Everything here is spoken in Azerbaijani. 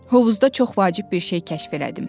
Hovuzda çox vacib bir şey kəşf elədim.